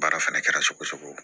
Baara fɛnɛ kɛra cogo o cogo